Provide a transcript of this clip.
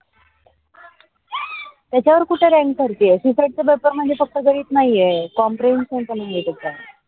त्याच्यावर कुठे rank चढती आहे. csat चा पेपर म्हणजे फक्त गणित नाही आह compression नाही आहे त्याचा.